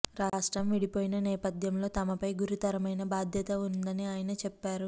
రాష్ట్రం విడిపోయిన నేపథ్యంలో తమపై గురుతరమైన బాధ్యత ఉందని ఆయన చెప్పారు